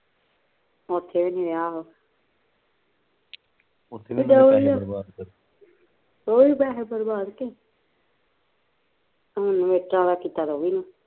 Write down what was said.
ਓਥੇ ਵੀ ਨੀ ਰਿਹਾ ਆਹੋ ਉਹੀਂ ਤਾਂ ਹੈ ਬਰਬਾਦ ਕਿ ਹੁਣ ਮਿਰਚਾਂ ਦਾ ਕੀਤਾ ਤੇ ਉਹ ਵੀ ਨਾ